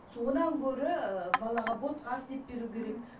содан гөрі ііі балаға ботқа істеп беру керек мхм